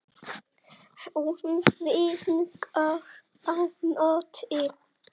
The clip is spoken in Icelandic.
Hún vinkar á móti.